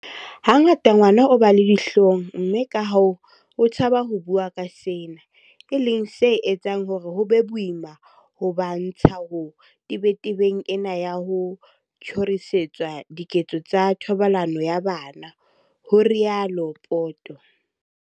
"Hangata ngwana o ba le dihlong mme kahoo o tshaba ho bua ka sena, e leng se etsang hore ho be boima ho ba ntsha ho tebetebeng ena ya ho tjhorisetswa diketso tsa thobalano ya bana," ho rialo Poto.